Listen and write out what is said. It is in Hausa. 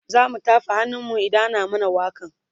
zamu tafa hannun mu idan ana mana wakan